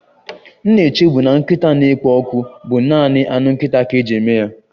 M na-echebu na nkịta na-ekpo ọkụ bụ naanị anụ nkịta ka eji eme ya